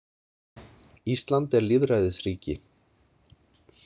Ísland er lýðræðisríki.